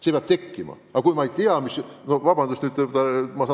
See tahe peab tekkima.